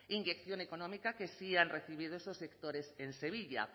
inyección económica que sí han recibido esos sectores en sevilla